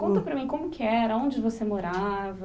Conta para mim como que era, onde você morava...